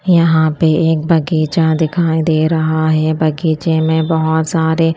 यहां पे एक बगीचा दिखाई दे रहा है बगीचे में बहोत सारे--